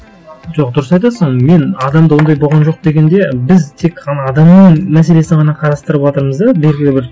жоқ дұрыс айтасың мен адамда ондай болған жоқ дегенде біз тек қана адамның мәселесін ғана қарастырыватырмыз да белгілі бір